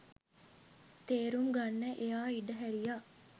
තේරුම් ගන්න එයා ඉඩහැරියා.